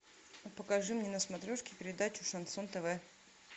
покажи мне на смотрешке передачу шансон тв